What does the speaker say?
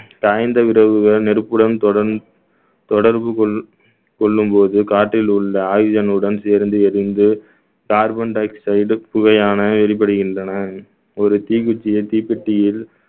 காய்ந்த நெருப்புடன் தொடர்ந்~ தொடர்பு கொள்~ கொள்ளும் போது காற்றில் உள்ள ஆயுதங்களுடன் சேர்ந்து எரிந்து carbon dioxide புகையான எரிபடுகின்றன ஒரு தீக்குச்சியும் தீப்பெட்டியில்